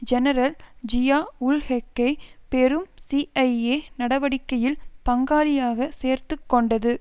general ஜியாஉல்ஹக்கை பெரும் CIA நடவடிக்கையில் பங்காளியாக சேர்த்து கொண்டது